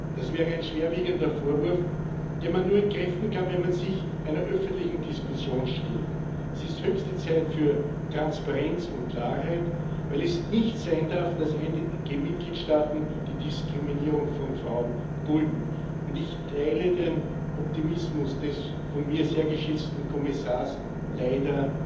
Das wäre ein schwerwiegender Vorwurf, den man nur entkräften kann, wenn man sich einer öffentlichen Diskussion stellt. Es ist höchste Zeit für Transparenz und Klarheit, weil es nicht sein darf, dass einige Mitgliedstaaten die Diskriminierung von Frauen dulden. Und ich teile den Optimismus des von mir sehr geschätzten Kommissars leider